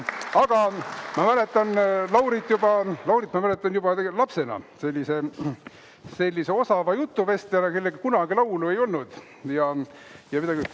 Aga ma mäletan Laurit tegelikult juba lapsena sellise osava jutuvestjana, kellel kunagi laulu ei olnud.